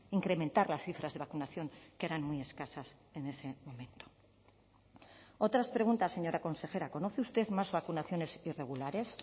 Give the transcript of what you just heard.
incrementar las cifras de vacunación que eran muy escasas en ese momento otras preguntas señora consejera conoce usted más vacunaciones irregulares